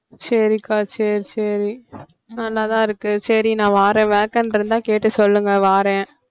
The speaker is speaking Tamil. சரிகா சரி சரி நல்லாதான் இருக்கு சரி நான் வாறேன் vacant இருந்தா கேட்டு சொல்லுங்க வாறேன்